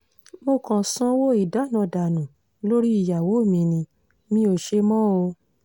mo kàn sanwó ìdáná dànù lórí ìyàwó mi ni mi ò ò ṣe mọ́ o